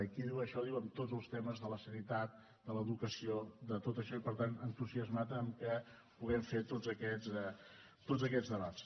i qui diu això diu en tots els temes de la sanitat de l’educació de tot això i per tant entusiasmat amb què puguem fer tots aquests debats